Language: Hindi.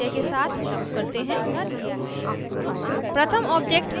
static के परिचय के साथ शुरू करते हैं